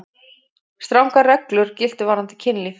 Strangar reglur giltu varðandi kynlíf.